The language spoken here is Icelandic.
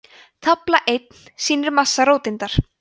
tafla einn sýnir massa róteindar